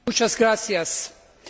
Tisztelt biztos úr!